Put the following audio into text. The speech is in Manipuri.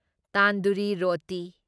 ꯇꯥꯟꯗꯨꯔꯤ ꯔꯣꯇꯤ